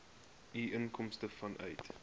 u inkomste vanuit